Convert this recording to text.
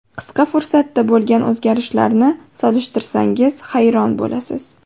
Qisqa fursatda bo‘lgan o‘zgarishlarni solishtirsangiz, hayron bo‘lasiz.